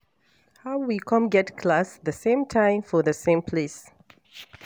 How we come get class the same time for the same place